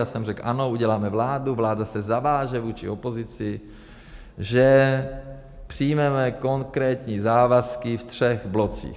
Já jsem řekl ano, uděláme vládu, vláda se zaváže vůči opozici, že přijmeme konkrétní závazky ve třech blocích.